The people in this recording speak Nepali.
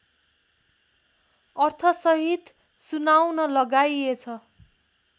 अर्थसहित सुनाउन लगाइएछ